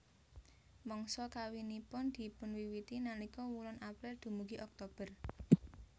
Mangsa kawinipun dipunwiwiti nalika wulan April dumugi Oktober